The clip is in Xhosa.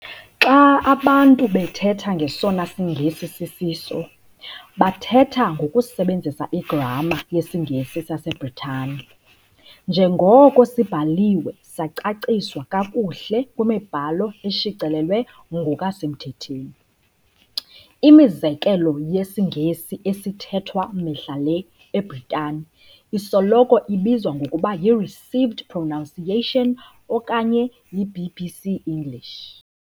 Xa abantu bethetha ng'esona siNgesi sisiso', bathetha ngokusebenzisa igramma yesiNgesi saseBritane, njengoko sibhaliwe sacaciswa kakuhle kwimibhalo eshicilelwe ngokwasemthethweni. Imizekelo yesiNgesi "esithethwa" mihla le eBritane isoloko ibizwa ngokuba yi-received Pronunciation okanye yi-BBC English.